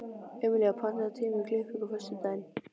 Emelía, pantaðu tíma í klippingu á föstudaginn.